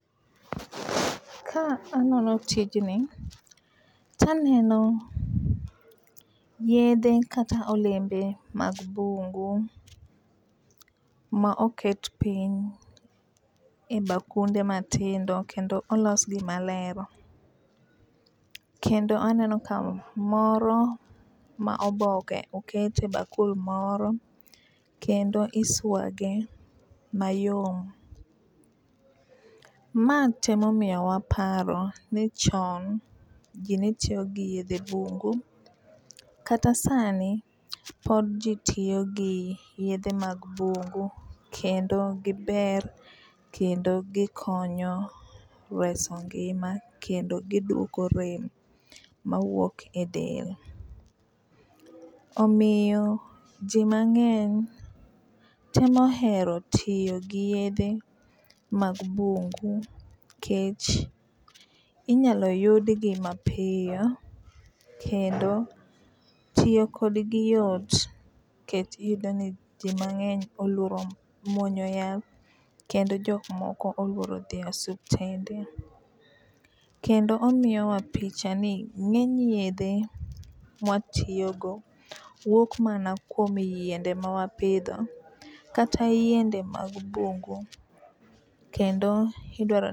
Ka anono tijni taneno yedhe kata olembe mag bungu ma oket piny e bakunde matindo kendo olosgi maler. Kendo aneno ka moro ma oboke oket e bakul moro kendo iswage mayom . Ma temo miyowa paro ni chon jii ne tiyo gi yedhe bungu kata sani pod jii tiyo gi yedhe mag bungu kendo giber kendo gikonyo reso ngima kendo giduoko rem mawuok e del. Omiyo jii mang'eny temo hero tiyo gi yedhe mag bungu nikech inyalo yudgi mapiyo kendo tiyo kodgi yot kech iyudo ni jii mang'eny oluoro muonyo yath kendo jok moko oluoro dhi e osuptende , kendo omiyo wa picha ni ng'eny yedhe mwatiyo go wuok mana kuom yiende ma wapidho kata yiende mag bungu kendo idwaro